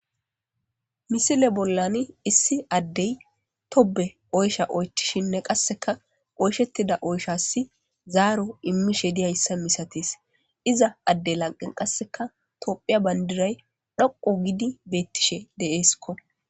Misile bollan issi addey tobe oysha oychishinne qasseka oyshettida oyshassi zaaro immishe diyayssa misatis iza adde lanqen qasseka tophiya bandiray dhoqu gidi beettishe deeeskko.